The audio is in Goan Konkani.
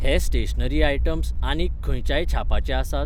हे स्टेशनरी आयटम्स आनीक खंयच्याय छापाचे आसात?